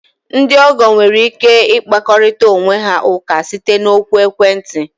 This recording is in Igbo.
Ndị ọgọ nwere ike ịkpakorịta onwe ha ụka site na oku ekwentị.